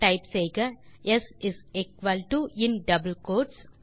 type செய்க S in double quotes